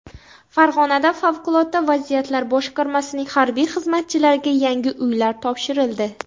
Farg‘onada favqulodda vaziyatlar boshqarmasining harbiy xizmatchilariga yangi uylar topshirildi.